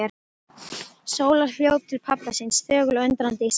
Sóla hljóp til pabba síns, þögul og undrandi í senn.